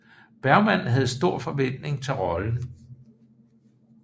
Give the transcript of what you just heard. Bergman havde store forventninger til rollen